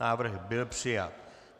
Návrh byl přijat.